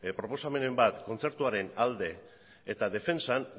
proposamenen bat kontzertuaren alde eta defentsan